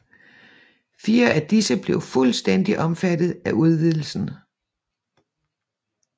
Fire af disse blev fuldstændigt omfattet af udvidelsen